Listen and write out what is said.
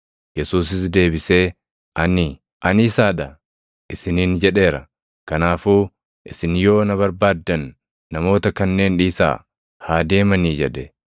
Yesuusis deebisee, “Ani, ‘Ani isaa dha’ isiniin jedheera. Kanaafuu, isin yoo na barbaaddan namoota kanneen dhiisaa haa deemanii!” jedhe.